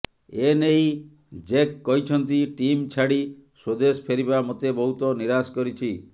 ଏ ନେଇ ଜେକ୍ କହିଛନ୍ତି ଟିମ୍ ଛାଡ଼ି ସ୍ୱଦେଶ ଫେରିବା ମୋତେ ବହୁତ ନିରାଶ କରିଛି